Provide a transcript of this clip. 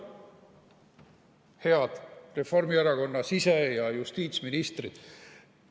Head Reformierakonna sise- ja justiitsministrid!